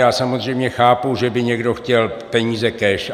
Já samozřejmě chápu, že by někdo chtěl peníze cash.